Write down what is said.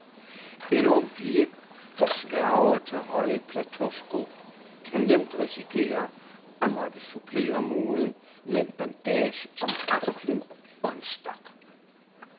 En ung pige, der sværger til høje plateausko, kan nemt risikere at måtte supplere moden med en bandage om anklen og en stok.